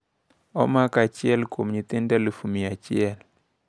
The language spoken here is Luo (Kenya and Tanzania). Omako achiel kuom nyithindo 100,000.